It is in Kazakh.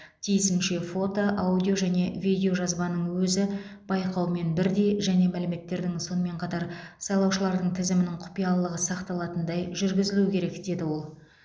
тиісінше фото аудио және видеожазбаның өзі байқаумен бірдей жеке мәліметтердің сонымен қатар сайлаушылардың тізімінің құпиялылығы сақталатындай жүргізілуі керек деді ол